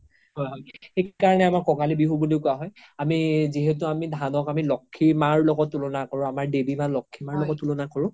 সেইকাৰনে আমাৰ কঙালী বিহু বুলিও কুৱা হয় আমি যিহেতু ধান আমি লক্ষী মাৰ লগত তুলনা কৰো আমাৰ দেৱি মা লক্ষীৰ লগত তুলনা কৰো